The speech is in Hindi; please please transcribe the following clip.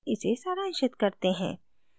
इसे सारांशित करते हैं